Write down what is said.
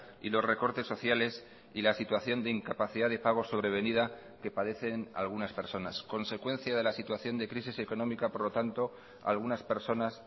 y los recortes sociales y la situación de incapacidad de pago sobrevenida que padecen algunas personas consecuencia de la situación de crisis económica por lo tanto algunas personas